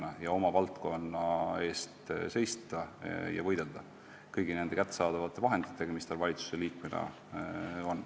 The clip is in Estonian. Ta peab oma valdkonna eest seisma ja võitlema kõigi vahenditega, mis tal valitsusliikmena on.